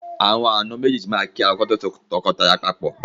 Àwọn àna méjéèjì máa kí ara wọn kí wọ́n tó so tọkọtaya papọ̀.